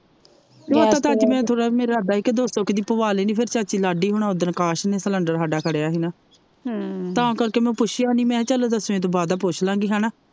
ਨਹੀਂ ਓਦਾਂ ਤੇ ਅੱਜ ਮੇਰਾ ਥੋੜ੍ਹਾ ਜਿਹਾ ਮੇਰਾ ਲਗਦਾ ਹੀ ਕੇ ਦੋ ਸੌ ਕਾ ਦੀ ਪਵਾ ਲੈਣੀ ਫਿਰ ਚਾਚੀ ਲਾਡੀ ਹੋਣਾ ਓਦਣ ਅਕਾਸ਼ ਨੇ ਸਿਲੰਡਰ ਹਾਡਾ ਖੜਿਆ ਹੀ ਨਾ ਤਾ ਕਰਕੇ ਮੈ ਪੁੱਛਿਆ ਨਹੀਂ ਚਲ ਦਸਵੇਂ ਤੋਂ ਬਾਅਦਾ ਪੁਛਲਾਗੀ ਹੇਨਾ।